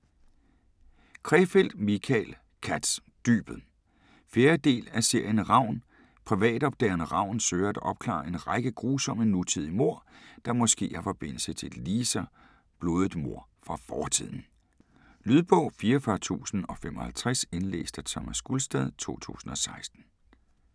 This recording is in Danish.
Krefeld, Michael Katz: Dybet 4. del af serien Ravn. Privatopdageren Ravn søger at opklare en række grusomme nutidige mord, der måske har forbindelse til et ligeså blodigt mord fra fortiden. Lydbog 44055 Indlæst af Thomas Gulstad, 2016.